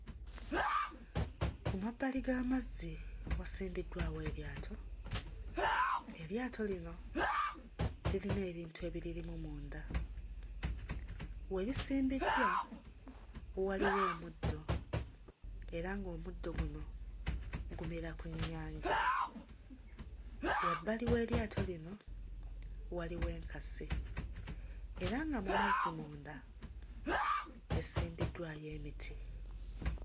Ku mabbali g'amazzi wasimbiddwawo eryato. Eryato lino lirina ebintu ebiririmu munda, we lisimbiddwa waliwo omuddo era ng'omuddo guno gumera ku nnyanja. Wabbali w'eryato lino waliwo enkasi era nga mu mazzi munda esimbiddwayo emiti.